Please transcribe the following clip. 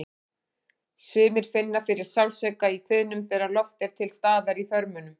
Sumir finna fyrir sársauka í kviðnum þegar loft er til staðar í þörmunum.